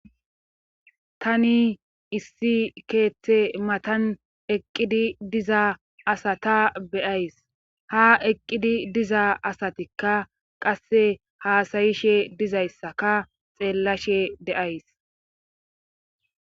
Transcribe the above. Tani issi keeththe matan eqqidi diza asata beyays ha eqqidi diza asatikka qasse haasayishe dizayssaka xeellashe deays